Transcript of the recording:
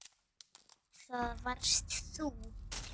Það varst þú.